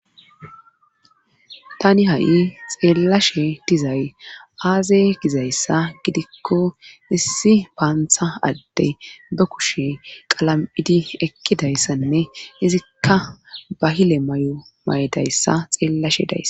Tani ha'i xeellashe dizay aaze gizayssa gidikko issi paantha adde ba kushe qalam'idi ekkidayssanne izikka bahile may'o may'dayssa xeellashe days